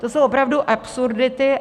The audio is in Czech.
To jsou opravdu absurdity.